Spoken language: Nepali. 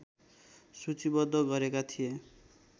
सूचीबद्ध गरेका थिए